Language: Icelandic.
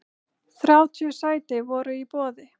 Þrjátíu sæti voru í boði.